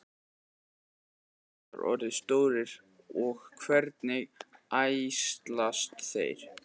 hvað geta krókódílar orðið stórir og hvernig æxlast þeir